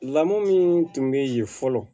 Lamu min tun bɛ yen fɔlɔ